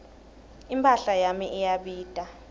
imphahla yami iyabita